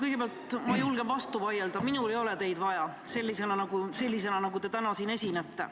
Kõigepealt julgen ma vastu vaielda: minul ei ole teid vaja sellisena, nagu te täna siin esinete.